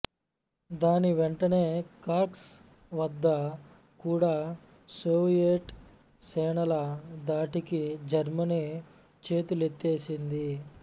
దాని వెంటనే కర్స్క్ వద్ద కూడా సోవియెట్ సేనల ధాటికి జర్మనీ చేతులెత్తేసింది